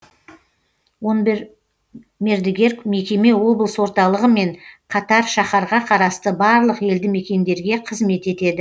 он бір мердігер мекеме облыс орталығымен қатар шаһарға қарасты барлық елді мекендерге қызмет етеді